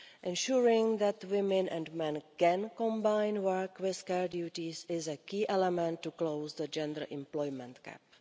Ensuring that women and men can combine work with care duties is a key element to close the gender employment gap.